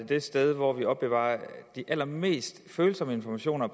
det sted hvor vi opbevarer de allermest følsomme informationer